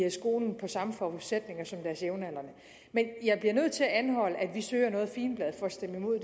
i skolen med samme forudsætninger som deres jævnaldrende jeg bliver nødt til at anholde at vi søger noget figenblad for at stemme imod